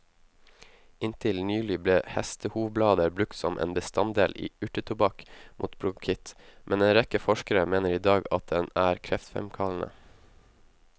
Inntil nylig ble hestehovblader brukt som en bestanddel i urtetobakk mot bronkitt, men en rekke forskere mener i dag at den er kreftfremkallende.